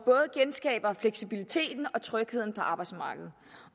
genskaber både fleksibiliteten og trygheden på arbejdsmarkedet